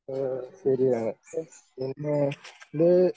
ആ ശരിയാണ് പിന്നെ ഇത്